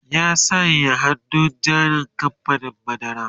ya saya hannun jarin kamfanin madara